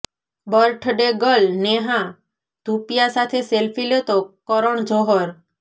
birthday girl Neha Dhupia સાથે selfie લેતો કરણ જોહર